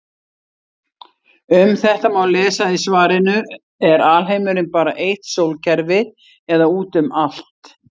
Um þetta má lesa í svarinu Er alheimurinn bara eitt sólkerfi eða út um allt?